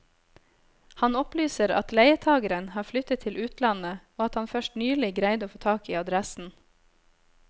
Han opplyser at leietageren har flyttet til utlandet og at han først nylig greide å få tak i adressen.